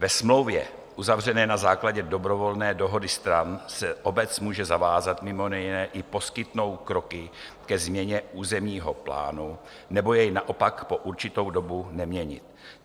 Ve smlouvě uzavřené na základě dobrovolné dohody stran se obec může zavázat mimo jiné i poskytnout kroky ke změně územního plánu, nebo jej naopak po určitou dobu neměnit.